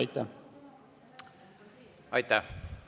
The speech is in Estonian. Aitäh!